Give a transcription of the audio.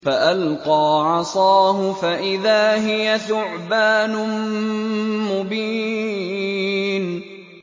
فَأَلْقَىٰ عَصَاهُ فَإِذَا هِيَ ثُعْبَانٌ مُّبِينٌ